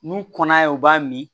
N'u kɔnna u b'a min